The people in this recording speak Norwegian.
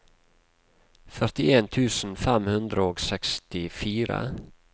førtien tusen fem hundre og sekstifire